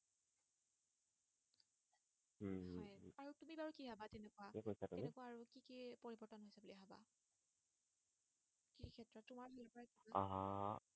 আহ